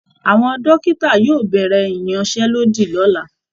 Àwọn dòkìtà yóò bẹ̀rẹ̀ ìyanṣẹ́lódì lọ́la